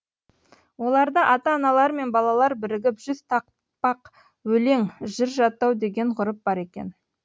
оларда ата аналар мен балалар бірігіп жүз тақпақ өлең жыр жаттау деген ғұрып бар екен